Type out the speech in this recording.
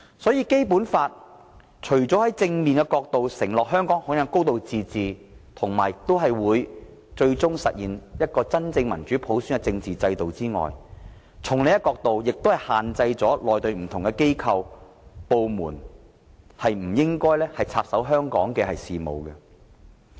因此，《基本法》除正面承諾香港享有"高度自治"及最終實現真正民主普選的政治制度外，亦從另一角度限制內地的不同機構和部門不應插手香港事務。